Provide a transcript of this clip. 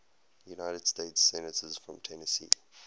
united states senators from tennessee